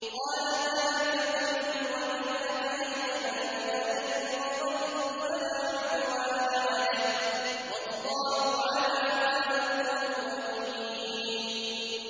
قَالَ ذَٰلِكَ بَيْنِي وَبَيْنَكَ ۖ أَيَّمَا الْأَجَلَيْنِ قَضَيْتُ فَلَا عُدْوَانَ عَلَيَّ ۖ وَاللَّهُ عَلَىٰ مَا نَقُولُ وَكِيلٌ